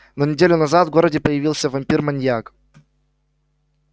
но неделю назад в городе появился вампир-маньяк